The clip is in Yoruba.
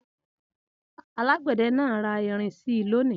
Alágbẹ̀dẹ náà ra irin si lónìí.